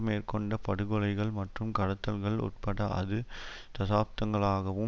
மேற்கொண்ட படுகொலைகள் மற்றும் கடத்தல்கள் உட்பட அது தசாப்தகாலங்களாகவும்